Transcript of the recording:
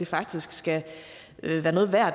faktisk skal være noget værd